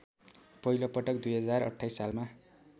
पहिलोपटक २०२८ सालमा